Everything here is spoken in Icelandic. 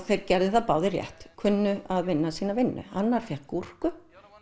þeir gerðu það báðir rétt kunnu að vinna sína vinnu annar fékk gúrku